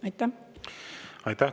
Aitäh!